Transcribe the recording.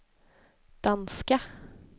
danska